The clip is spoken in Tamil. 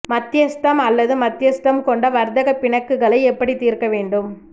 மத்தியஸ்தம் அல்லது மத்தியஸ்தம் கொண்ட வர்த்தக பிணக்குகளை எப்படித் தீர்க்க வேண்டும்